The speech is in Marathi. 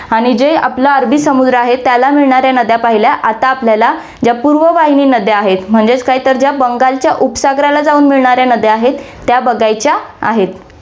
आणि जे आपला अरबी समुद्र आहे, त्याला मिळणाऱ्या नद्या पाहिल्या, आता आपल्याला या पूर्व वाहिनी नद्या आहेत, म्हणजेच काय, तर बंगालच्या उपसागराला जाऊन मिळणाऱ्या नद्या आहेत, त्या बघायच्या आहेत.